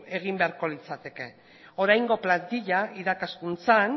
egin beharko litzateke oraingo plantila irakaskuntzan